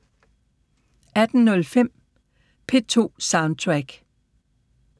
18:05: P2 Soundtrack